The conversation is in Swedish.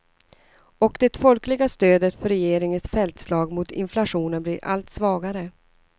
Och det folkliga stödet för regeringens fältslag mot inflationen blir allt svagare.